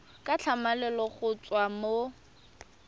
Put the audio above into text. ka tlhamalalo go tswa mo